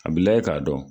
A bi lajɛ k'a dɔn